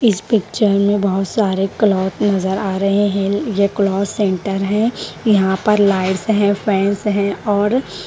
इस पिक्चर मे बहोत सारे क्लॉथ नज़र आ रहे है ये क्लॉथ सेंटर है यहां पर लाइट्स है फैन्स है और--